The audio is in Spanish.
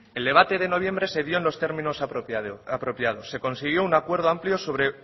el debate de noviembre se dio en los términos apropiados se consiguió un acuerdo amplio sobre